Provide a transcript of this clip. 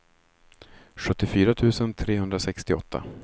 sjuttiofyra tusen trehundrasextioåtta